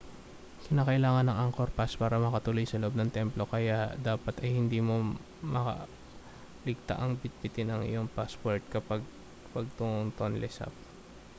kinakailangan ang angkor pass para makatuloy sa loob ng templo kaya dapat ay hindi mo makaligtaang bitbitin ang iyong pasaporte kapag patungong tonle sap